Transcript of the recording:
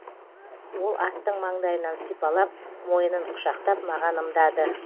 ол аттың маңдайынан сипалап мойынын құшақтап маған ымдады